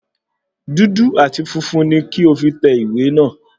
Dúdú àti funfun ní kí o fí tẹ ìwé náà